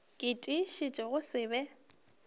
ke tiišetša go se be